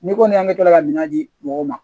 N'i kɔni y'an bɛ kila ka minɛn di mɔgɔw ma